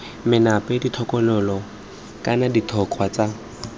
menape ditokololo kana ditogwa tse